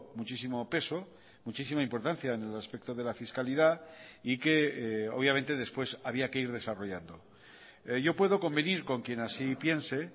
muchísimo peso muchísima importancia en el aspecto de la fiscalidad y que obviamente después había que ir desarrollando yo puedo convenir con quien así piense